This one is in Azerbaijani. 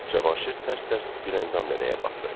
Cavanşir tərs-tərs Güləndam nənəyə baxdı.